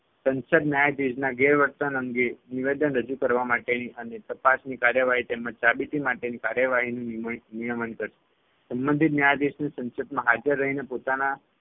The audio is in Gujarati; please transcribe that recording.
સંસદ ન્યાયાધીશના ગેરવર્તન અંગે નિવેદન રજુ કરવા માટેની અને તપાસની કાર્યવાહી તેમજ સાબિતી માટેની કાર્યવાહીની નીમ નિયમન કરશે. સંબંધિત ન્યાયાધીશને સંસદમાં હાજર રહીને પોતાના